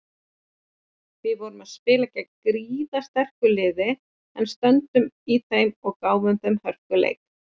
Við vorum spila gegn gríðarsterku liði en stöndum í þeim og gáfum þeim hörkuleik.